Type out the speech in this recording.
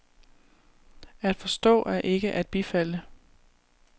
At forstå er ikke at bifalde.